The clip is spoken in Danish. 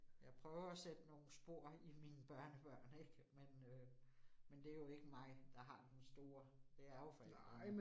Jeg prøver at sætte nogle spor i mine børnebørn ik, men øh men det jo ikke mig, der har den store. Det er jo forældrene